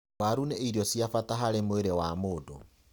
Waru nī irio cia bata harī mwīrī wa mūndū.